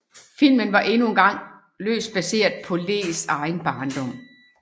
Filmen var endnu engang løst baseret på Lees egen barndom